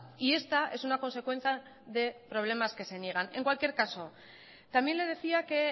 y esta es una consecuencia de problemas que se niegan en cualquier caso también le decía que